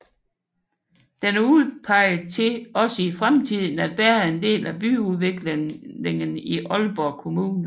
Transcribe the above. Den er udpeget til også i fremtiden at bære en del af byudviklingen i Aalborg Kommune